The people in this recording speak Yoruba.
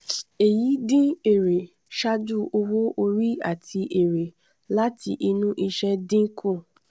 èyí dín èrè ṣáájú owó orí àti èrè láti inú iṣẹ́ dín kù.